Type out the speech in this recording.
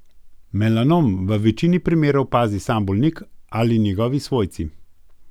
Melanom v večini primerov opazi sam bolnik ali njegovi svojci.